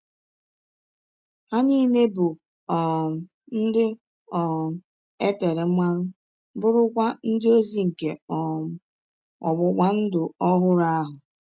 Ha nile bụ um ndị um e tere mmanụ, bụrụkwa ndị ọzi nke um ọgbụgba ndụ ọhụrụ ahụ.